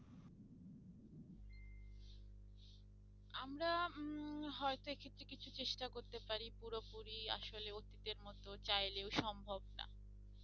আমার উম হয়তো এক্ষেত্রে কিছু চেষ্টা করতে পারি পুরোপুরি আসলে অতীতের মতো চাইলেও সম্ভব না